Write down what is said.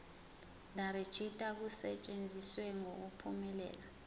nerejista kusetshenziswe ngokuphumelela